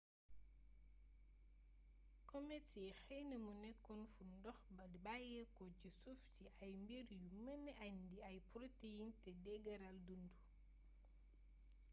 comets yi xeeyna mu nékoon fun dox di bayéko ci suuf ci ay mbir yu meenee indi ay proteins té deegeereel dundu